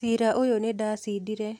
Cira ũyũ nĩdacidire.